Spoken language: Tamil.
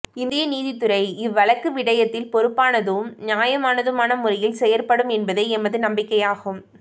இந்திய நீதித்துறை இவ் வழக்கு விடயத்தில் பொறுப்பானதும் நியாயமானதுமான முறையில் செயற்படும் என்பதே எமது நம்பிக்கையாகும்